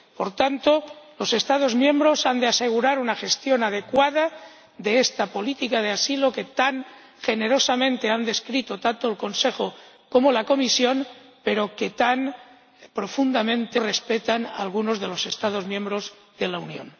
Por tanto, los Estados miembros han de asegurar una gestión adecuada de esta política de asilo, que tan generosamente han descrito tanto el Consejo como la Comisión, pero que tan poco respetan algunos de los Estados miembros de la Unión.